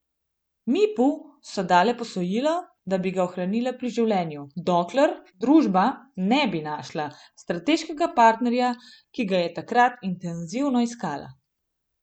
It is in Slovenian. Mipu so dale posojilo, da bi ga ohranile pri življenju, dokler družba ne bi našla strateškega partnerja, ki ga je takrat intenzivno iskala.